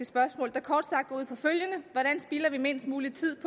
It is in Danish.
spørgsmål der kort sagt går ud på følgende hvordan spilder vi mindst mulig tid